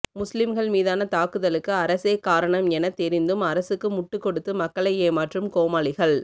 முஸ்லிம்கள் மீதான தாக்குதலுக்கு அரசே காரணம் எனத் தெரிந்தும் அரசுக்கு முட்டுக் கொடுத்து மக்களை ஏமாற்றும் கோமாளிகள்